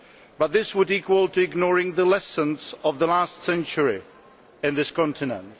But this would equate to ignoring the lessons of the last century in this continent.